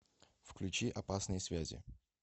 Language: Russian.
включи опасные связи